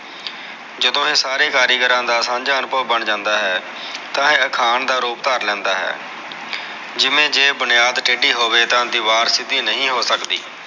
ਜਦੋ ਇਹ ਸਾਰੇ ਕਾਰੀਗਰਾ ਦਾ ਸਾਂਝਾ ਅਨੁਭਵ ਬਣ ਜਾਂਦਾ ਹੈ ਤਾ ਇਹ ਅਖਾਣ ਦਾ ਰੂਪ ਧਾਰ ਲੈਂਦਾ ਹੈ ਜਿਵੇ ਜੇ ਬੁਨਿਆਦ ਟੇਡੀ ਹੋਵੇ ਤਾ ਦੀਵਾਰ ਸਿਧੀ ਨਹੀ ਹੋ ਸਕਦੀ